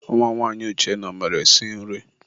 Nwa nwanyị Uchenna, ọ maara esi nri?